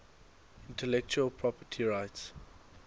intellectual property rights